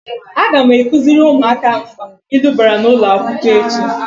Aga m akuziri umuaka mkpa ilu bara n'ulo akwukwo echi.